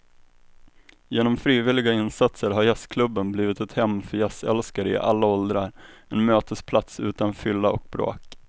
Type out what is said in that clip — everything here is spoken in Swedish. Genom frivilliga insatser har jazzklubben blivit ett hem för jazzälskare i alla åldrar, en mötesplats utan fylla och bråk.